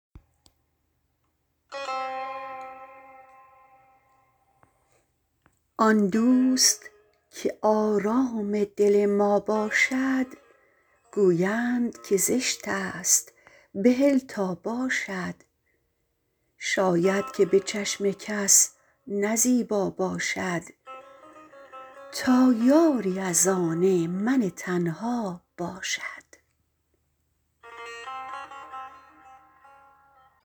آن دوست که آرام دل ما باشد گویند که زشتست بهل تا باشد شاید که به چشم کس نه زیبا باشد تا یاری از آن من تنها باشد